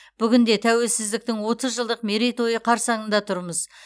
бүгінде тәуелсіздіктің отыз жылдық мерейтойы қарсаңында тұрмыз